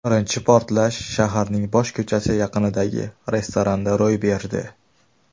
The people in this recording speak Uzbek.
Birinchi portlash shaharning bosh ko‘chasi yaqinidagi restoranda ro‘y berdi.